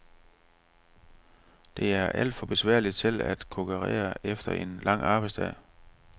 Det er alt for besværligt selv at kokkerere efter en lang arbejdsdag.